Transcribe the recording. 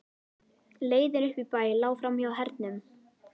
Leiðin upp í bæ lá framhjá Hernum.